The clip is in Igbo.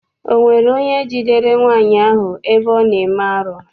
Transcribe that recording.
Ọ nwere onye jidere nwaanyị ahụ ebe ọ na-eme arụ?